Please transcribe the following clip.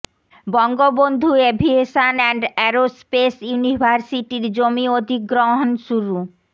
Bangabandhu aviation and aerospace ইউনিভার্সিটির জমি অধিগ্রহণ শুরু